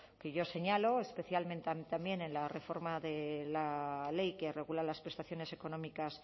que yo señalo especialmente también en la reforma de la ley que regula las prestaciones económicas